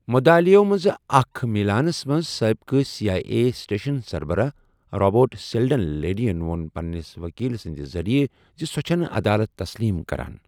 مدعالیو منز اكہِ مِلانس منز سٲبقہٕ سی آیہ اے سٹیشن سربراہ رابرٹ سیلڈن لیڈی وو٘ن پننِس وكیل سندِ ذریعہ زِ سۄ چُھنہٕ عدالت تسلیم كران ۔